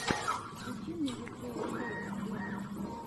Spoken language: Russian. включи мне диджея шейка вево